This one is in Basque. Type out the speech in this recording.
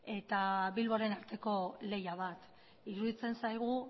eta bilboren arteko lehia bat iruditzen zaigu